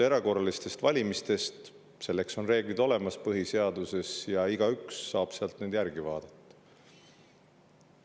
Erakorraliste valimiste reeglid on põhiseaduses olemas ja igaüks saab neid sealt järele vaadata.